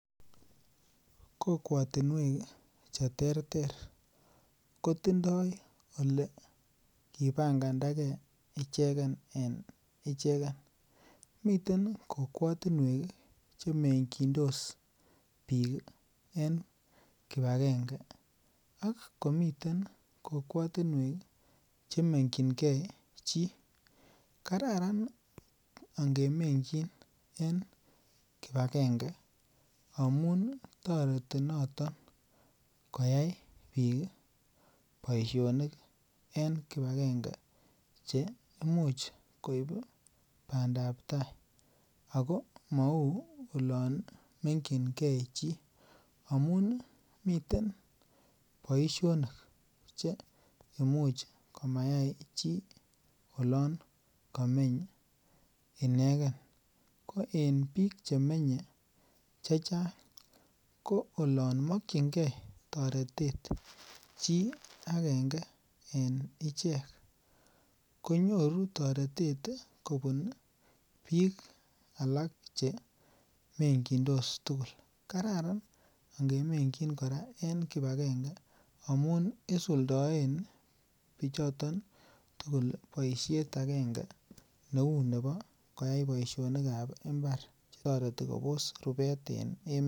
Kokwotinwek cheterter kotindo ole kipangandake ichegen en ichegen miten kokwatinwek chemekindos biik en kipagenge ak komiten kokwatinwek chemekingee chi kararan an kemekyinge kipagenge amun toreti noton koyai biik boisionik en kipagenge che imuch koib bandaptai ago mau oloon mekyinkee chii amun miten boisionik che imuch komayai chi oloon kameny ineken ko en biik chemenye chechang ko oloon mokyinkee toretet chi agenge en ichek konyoru toretet kobun biik alak chemekindos tugul kararan kemekyin kipagenge amun isudoen bichoto tugul boisiet agenge neu Nebo koyai boisiet en imbar netoreti Kobos rubet.